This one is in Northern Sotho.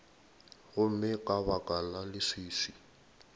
gomme ka baka la leswiswi